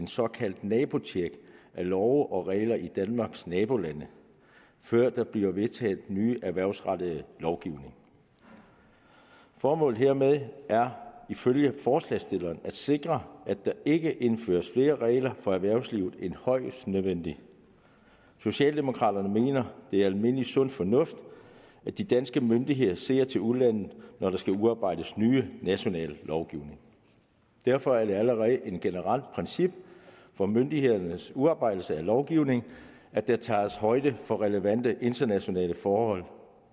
såkaldt nabotjek af love og regler i danmarks nabolande før der bliver vedtaget ny erhvervsrettet lovgivning formålet hermed er ifølge forslagsstillerne at sikre at der ikke indføres flere regler for erhvervslivet end højst nødvendigt socialdemokraterne mener det er almindelig sund fornuft at de danske myndigheder ser til udlandet når der skal udarbejdes ny national lovgivning derfor er det allerede et generelt princip for myndighedernes udarbejdelse af lovgivning at der tages højde for relevante internationale forhold